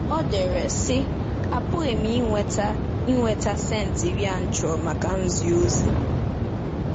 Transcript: O dere, sị: “Apụghị m ị nweta ị nweta cents iri a chọrọ maka nzi ozi.